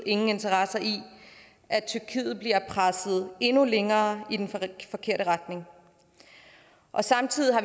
ingen interesse i at tyrkiet bliver presset endnu længere i den forkerte retning samtidig har